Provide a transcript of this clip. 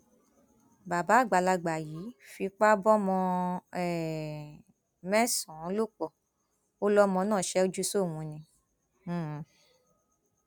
bàbá àgbàlagbà yìí fipá bómọọn um mẹsànán ló pọ ó lọmọ náà ṣẹjú sóun ni um